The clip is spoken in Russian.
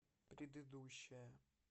предыдущая